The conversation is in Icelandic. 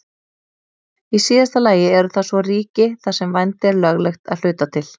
Í síðasta lagi eru það svo ríki þar sem vændi er löglegt að hluta til.